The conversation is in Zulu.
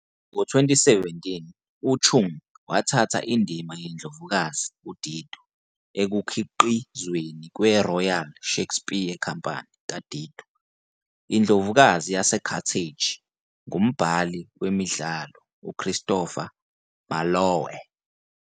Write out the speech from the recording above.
Ngo-2017, uChung wathatha indima yeNdlovukazi uDido ekukhiqizweni kweRoyal Shakespeare Company "kaDido, iNdlovukazi yaseCarthage" ngumbhali wemidlalo uChristopher Marlowe.